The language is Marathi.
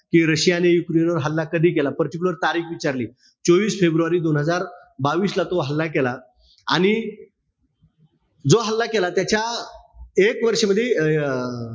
कि रशियाने युक्रेनवर हल्ला कधी केला? Particular तारीख विचारली. चोवीस फेब्रुवारी दोन हजार बावीस ला तो हल्ला केला. आणि जो हल्ला केला त्याच्या एक वर्ष मध्ये, अं